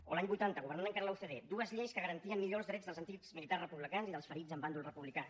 o l’any vuitanta governant encara la ucd dues lleis que garantien millor els drets dels antics militars republicans i dels ferits en bàndol republicà